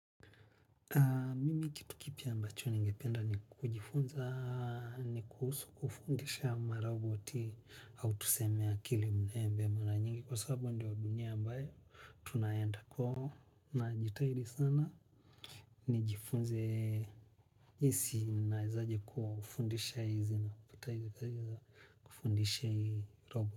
Mimi kitu kipi ambacho ni ngependa ni kujifunza ni kufundisha ma roboti au tuseme akili mzembe maranyingi sababu ndio dunia ambao tunaenda kwa hio najitahidi sana ni jifunze jinsi na izaje kufundisha hizi na pataje kazi za kufundisha hizi robo.